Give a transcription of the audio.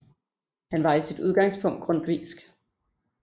Han var i sit udgangspunkt grundtvigsk